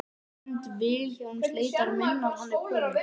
Hönd Vilhjálms leitar minnar Hann er kominn.